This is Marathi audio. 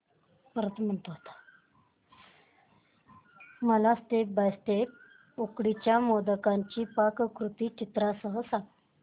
मला स्टेप बाय स्टेप उकडीच्या मोदकांची पाककृती चित्रांसह सांग